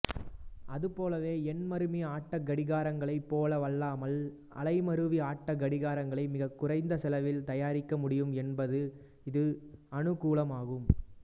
அதுபோலவே எண்மருவி ஆட்டக் கடிகாரங்களைப் போலவல்லாமல் அலைமருவி ஆட்டக் கடிகாரங்களை மிகக்குறைந்த செலவில் தயாரிக்க முடியும் என்பது இதன் அனுகூலமாகும்